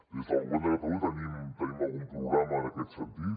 des del govern de catalunya tenim algun programa en aquest sentit